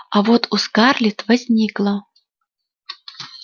а вот у скарлетт возникло